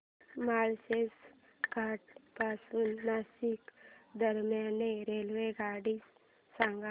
माळशेज घाटा पासून नाशिक दरम्यान रेल्वेगाडी सांगा